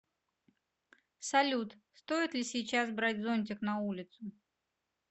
салют стоит ли сейчас брать зонтик на улицу